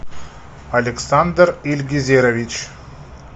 александр ильгезерович